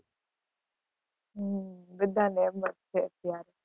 હમ બધા ને એમ જ છે અત્યારે.